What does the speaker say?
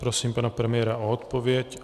Prosím pana premiéra o odpověď.